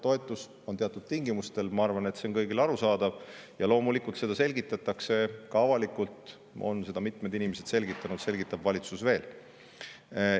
Toetus on teatud tingimustel – ma arvan, et see on kõigile arusaadav – ja loomulikult seda selgitatakse ka avalikult, mitmed inimesed on juba selgitanud, valitsus selgitab veel.